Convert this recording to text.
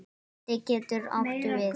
Belti getur átt við